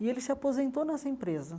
E ele se aposentou nessa empresa.